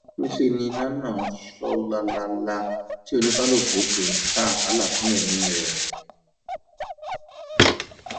níṣẹ ni iná ń sọ lálaalà tí oníkálukú sì ń sá àsálà fún ẹmí rẹ